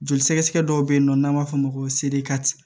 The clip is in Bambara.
Joli sɛgɛsɛgɛ dɔ bɛ yennɔ n'an b'a fɔ o ma ko